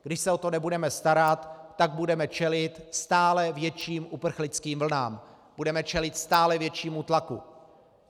Když se o to nebudeme starat, tak budeme čelit stále větším uprchlickým vlnám, budeme čelit stále většímu tlaku.